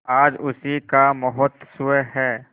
आज उसी का महोत्सव है